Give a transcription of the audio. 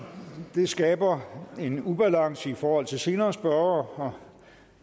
det skaber en ubalance i forhold til senere spørgere og